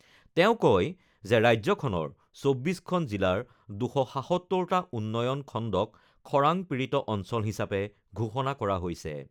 তেওঁ কয় যে ৰাজ্যখনৰ ২৪খন জিলাৰ ২৭৭টা উন্নয়ন খণ্ডক খৰাং পীড়িত অঞ্চল হিচাপে ঘোষণা কৰা হৈছে।